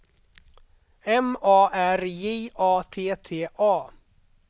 M A R J A T T A